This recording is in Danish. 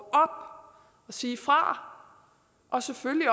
sige fra og selvfølgelig